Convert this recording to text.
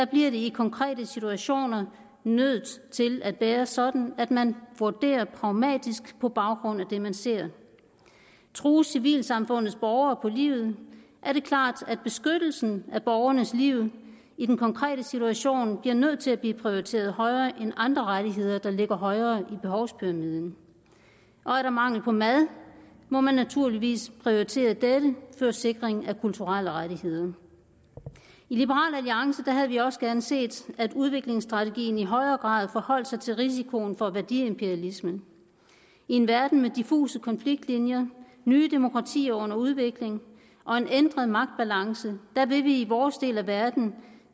bliver det i konkrete situationer nødt til at være sådan at man vurderer pragmatisk på baggrund af det man ser trues civilsamfundets borgere på livet er det klart at beskyttelsen af borgernes liv i den konkrete situation bliver nødt til at blive prioriteret højere end andre rettigheder der ligger højere i behovspyramide er der mangel på mad må man naturligvis prioritere dette før sikring af kulturelle rettigheder i liberal alliance havde vi også gerne set at udviklingsstrategien i højere grad forholdt sig til risikoen for værdiimperialisme i en verden med diffuse konfliktlinjer nye demokratier under udvikling og en ændret magtbalance vil vi i vores del af verden